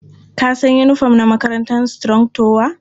Ka san yinifom na makarantar Strong tower?